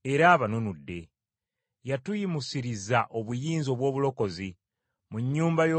Yatuyimusiriza obuyinza obw’obulokozi, mu nnyumba y’omuddu we Dawudi.